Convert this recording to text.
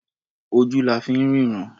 Ojú la fi ń ríran.